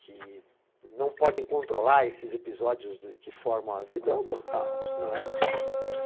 que não podem controlar esses episódios que formam a vida, brutal, não é brincadeira, né.